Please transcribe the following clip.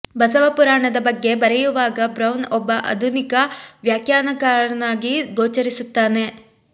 ಬಸವ ಪುರಾಣದ ಬಗ್ಗೆ ಬರೆಯುವಾಗ ಬ್ರೌನ್ ಒಬ್ಬ ಆಧುನಿಕ ವ್ಯಾಖ್ಯಾನಕಾರನಾಗಿ ಗೋಚರಿಸುತ್ತಾನೆ